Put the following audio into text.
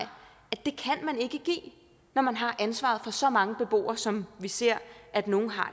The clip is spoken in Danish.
at man ikke give når man har ansvaret for så mange beboere som vi ser at nogle har